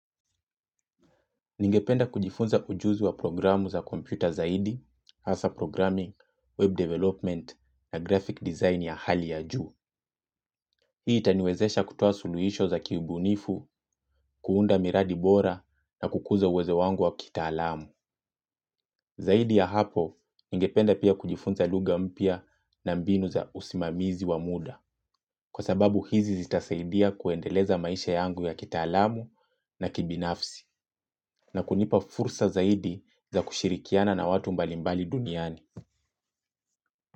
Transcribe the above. Ningependa kujifunza ujuzi wa programu za kompyuta zaidi, hasa programming, web development, na graphic design ya hali ya juu. Hii itaniwezesha kutoa suluhisho za kiubunifu, kuunda miradi bora na kukuza uwezo wangu wa kitaalamu. Zaidi ya hapo, ningependa pia kujifunza lugha mpya na mbinu za usimamizi wa muda. Kwa sababu hizi zitasaidia kuendeleza maisha yangu ya kitaalamu na kibinafsi. Na kunipa fursa zaidi za kushirikiana na watu mbalimbali duniani.